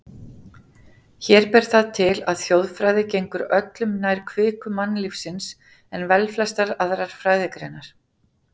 Hér ber það til, að þjóðfræði gengur öllu nær kviku mannlífsins en velflestar aðrar fræðigreinar.